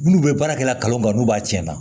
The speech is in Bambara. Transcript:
Minnu bɛ baarakɛla kan n'u b'a tiɲɛ na